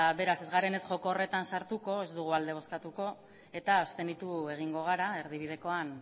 beraz ez garen joko horretan sartuko ez dugu alde bozkatuko eta abstenitu egingo gara erdibidekoan